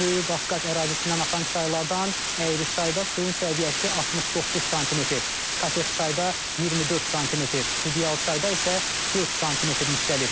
Böyük Qafqaz ərazisindən axan çaylardan Əyriçayda suyun səviyyəsi 69 sm, Katexçayda 24 sm, Qudyalçayda isə 4 sm yüksəlib.